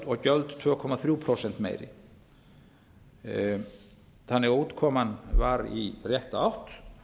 og gjöld tvö komma þremur prósentum meiri útkoman var þannig í rétta átt